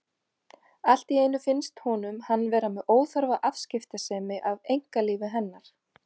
Allt í einu finnst honum hann vera með óþarfa afskiptasemi af einkalífi hennar.